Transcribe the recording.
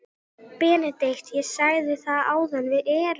BENEDIKT: Ég sagði það áðan: Við erum.